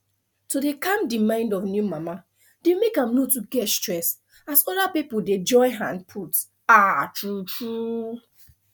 to dey cam the mind of new mama dey make am no too get stress as other pipo dey join hand put ah tru tru